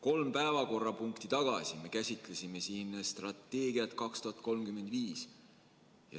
Kolm päevakorrapunkti tagasi me käsitlesime siin strateegiat 2035.